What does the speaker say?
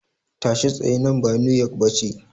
Tashi tsaye, nan ba New York ba ce.